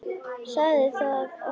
Sagði þá Ormur: